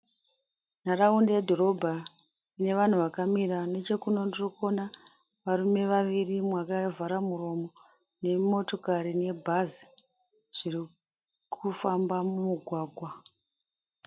Nharaunda yedhorobha inevanhu vakamira. Nechekuno ndirikuona varume vaviri mumwe akavhara muromo, nemotokari nebhazi zvirikufamba mumugwagwa.